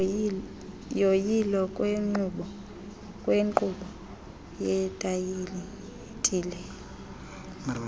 yoyilo lwenkqubo yetayitile